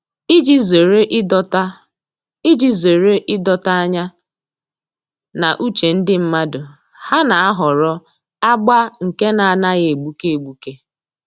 Iji zere ịdọta Iji zere ịdọta anya na uche ndị mmadụ, ha na-ahọrọ agba nke na-anaghị egbuke egbuke